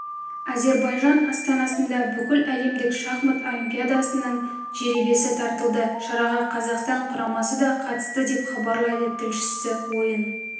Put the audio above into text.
әзербайжан астанасында бүкіләлемдік шахмат олимпиадасының жеребесі тартылды шараға қазақстан құрамасы да қатысты деп хабарлайды тілшісі ойын